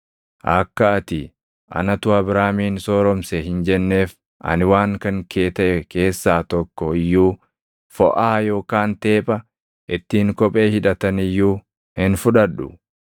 akka ati, ‘Anatu Abraamin sooromse’ hin jenneef ani waan kan kee taʼe keessaa tokko iyyuu, foʼaa yookaan teepha ittiin kophee hidhatan iyyuu hin fudhadhu.